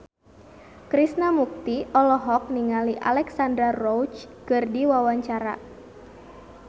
Krishna Mukti olohok ningali Alexandra Roach keur diwawancara